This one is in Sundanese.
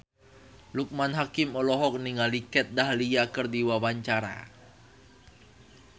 Loekman Hakim olohok ningali Kat Dahlia keur diwawancara